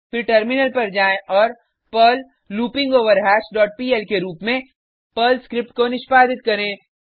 फिर टर्मिलन पर जाएँ और पर्ल लूपिंगवरहश डॉट पीएल के रुप में पर्ल स्क्रिप्ट को निष्पादित करें